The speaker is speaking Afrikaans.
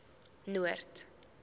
noord